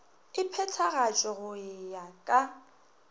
e phethagatšwe go ya ka